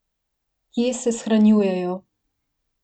Kje se shranjujejo?